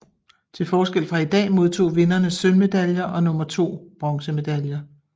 Til forskel fra i dag modtog vinderne sølvmedaljer og nummer to bronzemedaljer